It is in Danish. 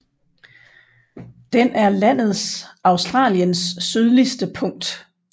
Den er landets Australiens sydligste punkt